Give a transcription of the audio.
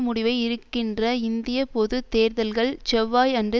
முடிவை இருக்கின்ற இந்திய பொது தேர்தல்கள் செவ்வாய் அன்று